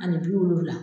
Ani bi wolonwula